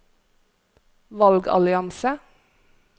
valgallianse